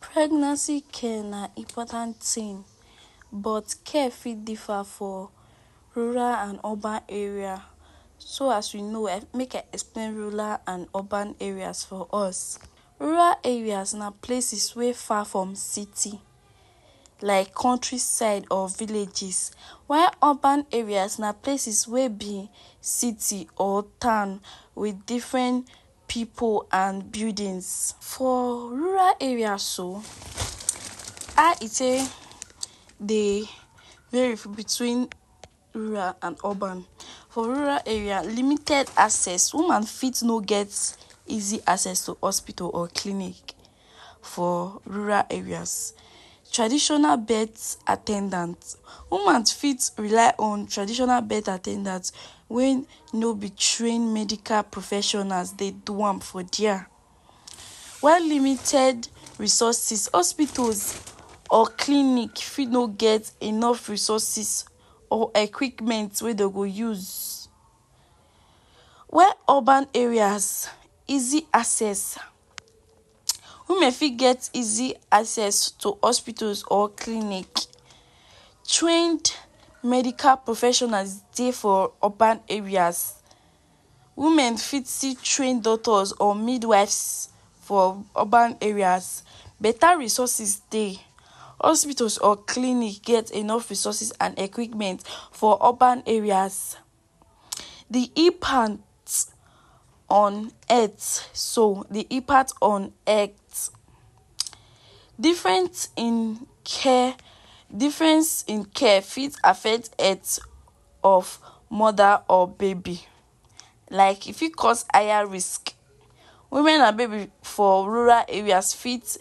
Pregnancy care na important thing but care fit differ for rural and urban area. So as you know um make I explain rural and urban areas for us. Rural areas na places wey far from city like country side or villages while Urban area na places wey be city or town wit different pipu and buildings. For rural area so how e take dey between rural and urban. For rural area, limited access. Woman fit no get easy access to hospitals or clinic for rural areas. Traditional birth at ten dant; woman fit rely on traditional birth at ten dant wey no be trained medical professionals dey do am for there. While limited resources; hospitals or clinic fit no get enough resources or equipment wey dey go use. While Urban areas, easy access. Women fit get easy access to hospitals or clinic. Trained medical professionals dey for urban areas; women fit see trained doctors or midwives for urban areas. Better resources dey. Hospitals or clinic get enough resources and equipment for urban areas. De impact on earth so, de impact on health; different in care, difference in care fit affect health of mother or baby, like e fit cause higher risk. Women and baby for rural areas fit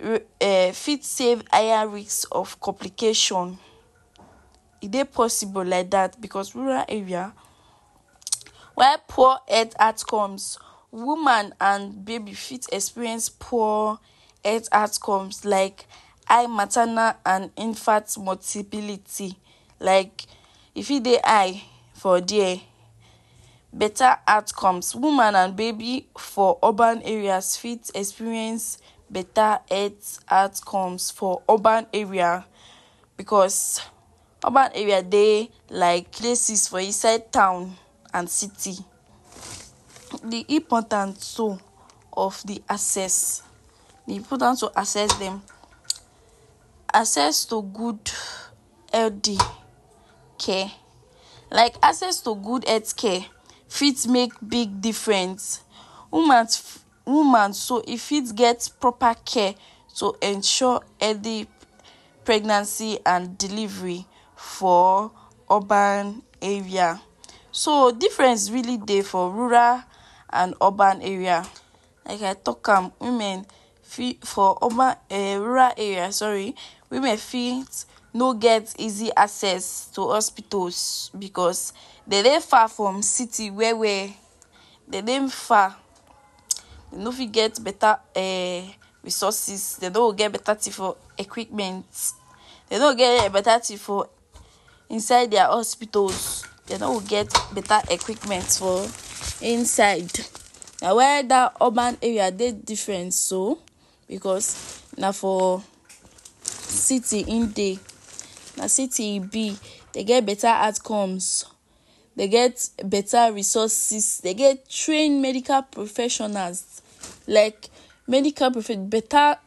um fit save higher risk of complication. E dey possible like dat because rural area while poor health outcomes, woman and baby fit experience poor health outcomes like high maternal and infant mortability. Like e fit dey high for there. Better outcomes; woman and baby for urban areas fit experience better health outcomes for urban area because urban area dey like places for inside town and city. De importance so of de access de importance to access dem. Access to good healthy care like access to good health care fit make big difference. Woman Woman so e fit get proper care to ensure healthy pregnancy and delivery for urban area. So difference really dey for rural and urban area. Like I talk am women fit for urban um rural area sorry, women fit no get easy access to hospitals because dey dey far from city where where dey dey far dey no fit get better um resources, dey no go get better thing for equipment. Dey no go get better thing for inside their hospitals, dey no go get better equipment for inside. Na why dat urban area dey different so because na for city im dey na city e be. Dey get better outcomes. Dey get better resources. Dey get trained medical professionals like medical better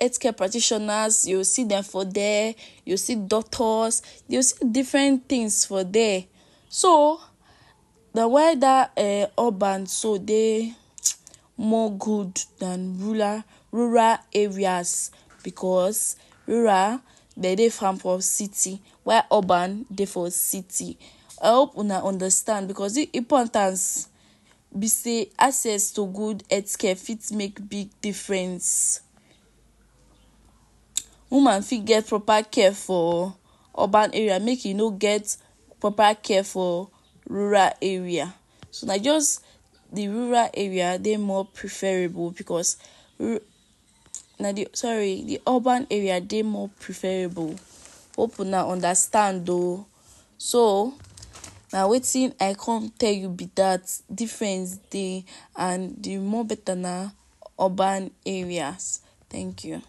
healthcare practitioners you go see dem for there, you go see doctors, you go see different things for there. So, na why dat um urban so dey more good than rural areas because rural dey dey far from city while Urban dey for city. I hope una understand because de importance be sey access to good healthcare fit make big difference. Woman fit get proper care for urban area make e no get proper care for rural area. So na just de rural area dey more preferable because na de sorry de urban area dey more preferable. Hope una understand oo. So na wetin I come tell you be dat, difference dey and de more better na urban areas. Thank you.